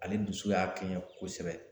Ale dusu y'a kɛɲɛ kosɛbɛ